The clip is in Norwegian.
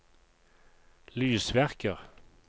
lysverker